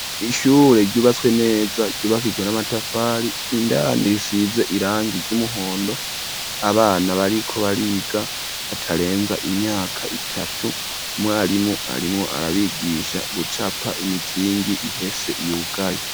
Ishure ryubatswe neza ryubakijwe n'amatafari indani risize irangi ry'umuhondo abana bariko bariga batarenza imyaka itatu umwarimu arimwo arabigisha gucapa imizingi ihese yugaye.